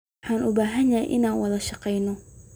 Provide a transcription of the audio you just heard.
Waxaan u baahanahay inaan wada shaqeyno.